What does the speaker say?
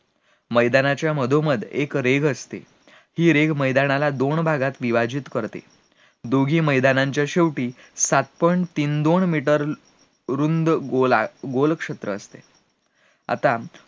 मैदानाच्या मधोमध एक रेघ असते, हि रेघ मैदानाला दोन भागात विभाजित करते, दोन्ही मैदानाच्या शेवटी सात point तीन दोन मीटर रुंद गोलात गोल क्षेत्र असते, आता